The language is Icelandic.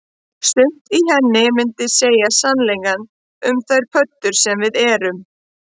Sumt í henni myndi segja sannleikann um þær pöddur sem við erum